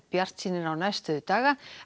bjartsýnir á næstu daga